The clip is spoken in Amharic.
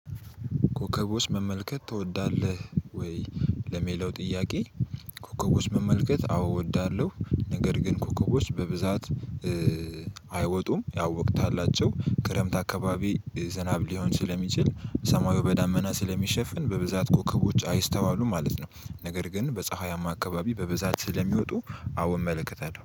ኮከቦች መመልከት ትወዳለህ ወይ? ለሚለው ጥያቄ ኮከቦች መመልከት አዎ እወዳለሁ። ነገር ግን ኮከቦች በብዛት አይወጡም ያወቅታላቸው ክረምት አካባቢ ዝናብ ሊሆን ስለሚችል ሰማዩ በዳመና ስለሚሸፍን በብዛት ኮከቦች አይስተዋሉም ማለት ነው። ነገር ግን በፀሐያማ አካባቢ በበዛት ስለሚወጡ አዎ እመለከታለሁ